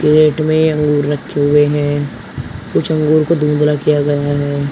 Crate में अंगूर रखें हुए हैं कुछ अंगूर को धुंधला किया गया है।